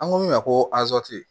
An ko min ma ko